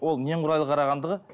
ол немқұрайлы қарағандығы